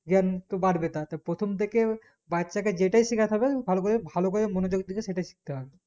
জ্ঞান একটু বাড়বে তার তা প্রথম থেকে বাচ্চা কে যেটাই শেখাতে হবে ভালোকরে ভালোকরে মনোযোক দিয়ে সেটাই শিখতে হবে